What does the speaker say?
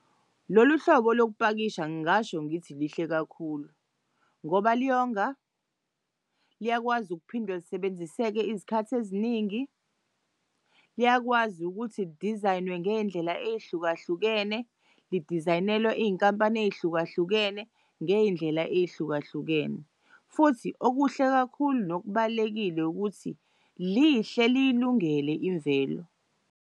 Lolu hlobo lokupakisha ngingasho ngithi lihle kakhulu ngoba liyonga, liyakwazi ukuphinde lisebenziseke izikhathi eziningi, liyakwazi ukuthi li-design-nwe ngey'ndlela ey'hlukahlukene li-design-nelwe iy'nkampani ey'hlukahlukene ngey'ndlela ey'hlukahlukene. Futhi okuhle kakhulu nokubalulekile ukuthi lihle liyilungele imvelo.